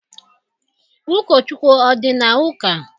Ụkọchukwu ọ dị na ụka?